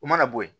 U mana bɔ yen